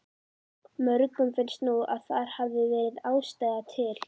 Mörgum finnst nú að þar hefði verið ástæða til.